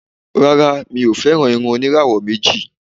Rárá, mi ò fẹ́ràn irun oníràwọ̀ méjì.